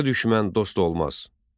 Qarı düşmən dost olmaz.